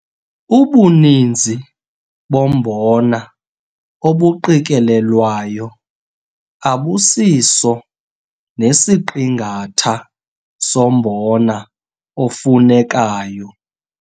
Ubuninzi bombona obuqikelelwayo abusiso nesiqingatha sombona ofunekayo.